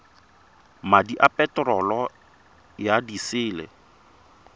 madi a peterolo ya disele